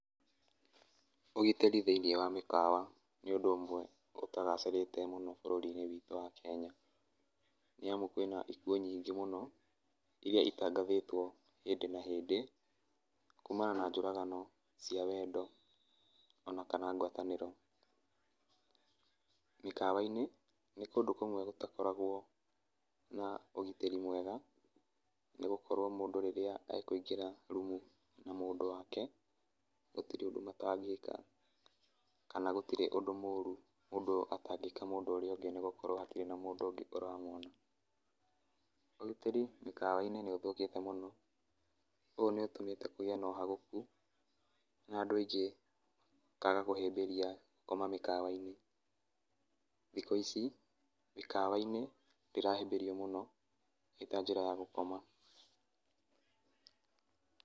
Ũgitĩri thĩinĩ wa mĩkawa, nĩ ũndũ ũmwe ũtagacĩrĩte mũno bũrũri-inĩ witũ wa Kenya, nĩ amu kwĩna ikuũ nyingĩ mũno, iria itangathĩtwo hĩndĩ, na hĩndĩ, kũmana na njũragano cia wendo, ona kana ngwatanĩro. Mĩkawa- inĩ nĩ kũndũ kũmwe gũtakoragwo na ũgitĩri mwega, nĩ gũkorwo mũndũ rĩrĩa e kwĩingĩra rumu na mũndũ wake gũtirĩ ũndũ matangĩka, kana gũtirĩ ũndũ mũru mũndũ atangĩka mũndũ ũrĩa ũngĩ nĩ gukorwo hatirĩ na mũndũ ũngĩ ũramwona .Ũgitĩri mĩkawa-inĩ nĩ ũthũkĩte mũno, ũũ nĩ ũtumĩte kũgĩe na ũhagoku na andũ aingĩ makaga kũhĩmbĩria gũkoma mĩkawa -inĩ, thikũ ici, mĩkawa - inĩ ndĩrahĩmbĩrio mũno itanjĩra ya gukoma.